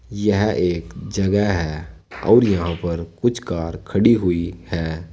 यह एक जगह है और यहां पर कुछ कार खड़ी हुई है।